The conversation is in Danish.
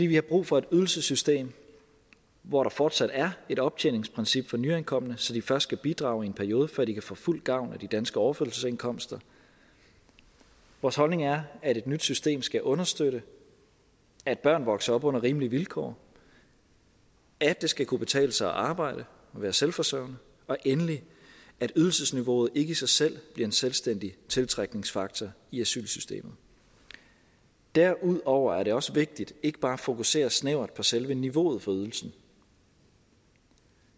vi har brug for et ydelsessystem hvor der fortsat er et optjeningsprincip for nyankomne så de først skal bidrage i en periode før de kan få fuld gavn af de danske overførselsindkomster vores holdning er at et nyt system skal understøtte at børn vokser op under rimelige vilkår at det skal kunne betale sig at arbejde og være selvforsørgende og endelig at ydelsesniveauet ikke i sig selv bliver en selvstændig tiltrækningsfaktor i asylsystemet derudover er det også vigtigt ikke bare at fokusere snævert på selve niveauet for ydelsen